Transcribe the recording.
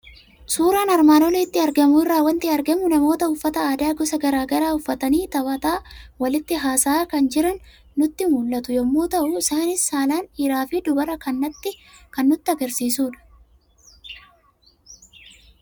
Suuraa armaan olitti argamu irraa waanti argamu; namoota uffata aadaa gosa garaagaraa uffatan taphataa, walitti haasa'a kan jiran kan nutti mul'atu yommuu ta'u, isaanis saalaan dhiiraaf dubara kan ta'an nutti agarsiisudha.